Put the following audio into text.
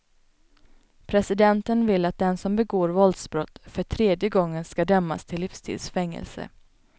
Presidenten vill att den som begår våldsbrott för tredje gången skall dömas till livstids fängelse.